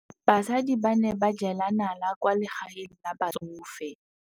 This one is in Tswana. Basadi ba ne ba jela nala kwaa legaeng la batsofe.